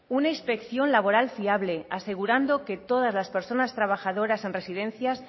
una inspección laboral fiable asegurando que todas las personas trabajadoras en residencias